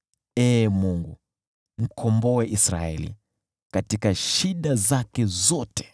Ee Mungu, wakomboe Israeli, katika shida zao zote!